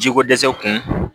Jiko dɛsɛ kun